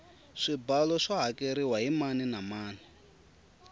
swibalo swa hakeriwa hi mani na mani